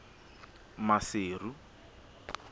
maseru